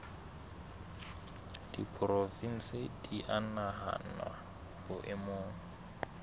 diporofensi di a nahanwa boemong